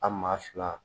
A maa fila